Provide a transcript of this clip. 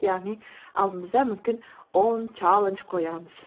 яғни алдымызда мүмкін он чаллендж қоямыз